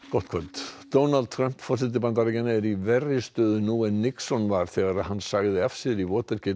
gott kvöld Donald Trump forseti Bandaríkjanna er í verri stöðu nú en Nixon var þegar hann sagði af sér í